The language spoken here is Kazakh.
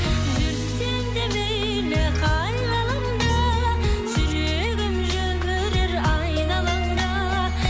жүрсең де мейлі қай ғаламда жүрегім жүрер айналаңда